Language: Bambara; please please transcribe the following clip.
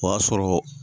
O y'a sɔrɔ